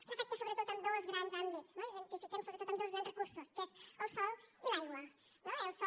l’afecta sobretot en dos grans àmbits i els identifiquem sobretot amb dos grans recursos que són el sòl i l’aigua no el sòl